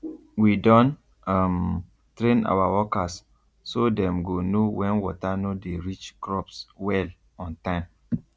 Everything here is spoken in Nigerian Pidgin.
we don um train our workers so dem go know when water no dey reach crops well on time